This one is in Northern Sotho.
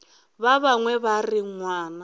ba bangwe ba re ngwana